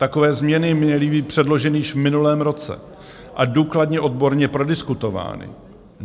Takové změny měly být předloženy již v minulém roce a důkladně odborně prodiskutovány.